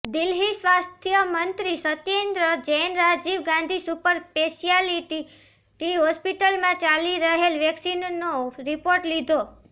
દિલ્હીઃ સ્વાસ્થ્ય મંત્રી સત્યેન્દ્ર જૈને રાજીવ ગાંધી સુપર સ્પેશિયાલિટી હોસ્પિટલમાં ચાલી રહેલ વેક્સીનેશનનો રિપોર્ટ લીધો